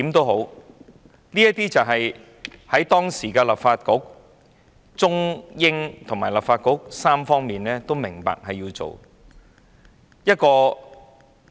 無論如何，這是當時中方、英方及立法局三方均明白需要做的事情。